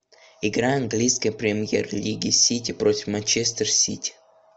игра английской премьер лиги сити против манчестер сити